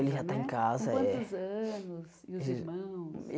Ele já né tá em casa, é. Com quantos anos? E os irmãos